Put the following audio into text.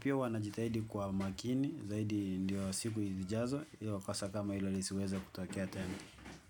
Pia huwa najitahidi kwa makini zaidi, ndio siku zijazo, ili kosa kama hilo lisiweze kutokea tena.